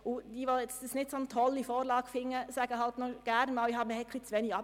Alle, welche die Vorlage nicht toll finden, sagen gerne, es sei zu wenig abgeklärt worden.